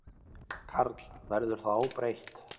Karl: Verður það óbreytt?